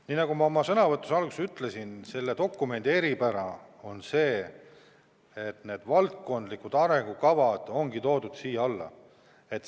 Nii nagu ma oma sõnavõtu alguses ütlesin, selle dokumendi eripära on see, et valdkondlikud arengukavad on toodud selle alla.